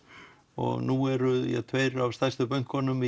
og nú eru tveir af stærstu bönkunum